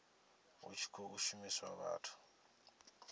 hu tshi khou shumiswa vhathu